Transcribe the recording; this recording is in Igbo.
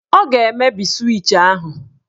Ọ ga-emebi swịch ahụ.